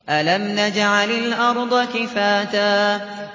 أَلَمْ نَجْعَلِ الْأَرْضَ كِفَاتًا